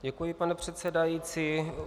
Děkuji, pane předsedající.